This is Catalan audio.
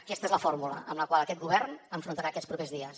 aquesta és la fórmula amb la qual aquest govern enfrontarà aquests dies